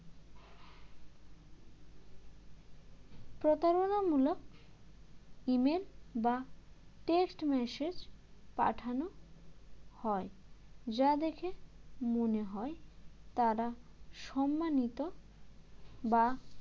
প্রতারণামূলক email বা text massage পাঠানো হয় যা দেখে মনে হয় তাঁরা সম্মানিত বা